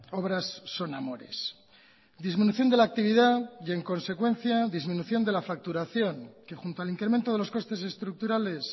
obras son amores disminución de la actividad y en consecuencia disminución de la facturación que junto al incremento de los costes estructurales